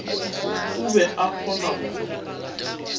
o be a kgona go